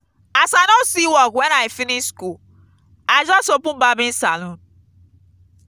as i no see work wen i finish skool i just open barbing saloon.